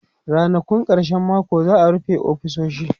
Rannakun karshen mako za'a rufe ofisoshi